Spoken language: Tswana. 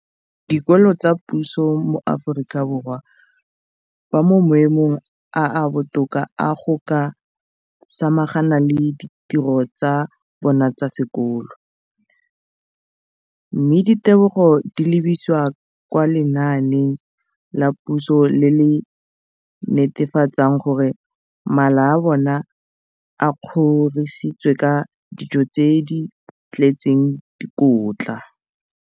Dikolo tsa puso mo Aforika Borwa ba mo maemong a a botoka a go ka samagana le ditiro tsa bona tsa sekolo, mme ditebogo di lebisiwa kwa lenaaneng la puso le le netefatsang gore mala a bona a kgorisitswe ka dijo tse di tletseng dikotla.